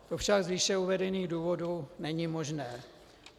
To však z výše uvedených důvodů není možné.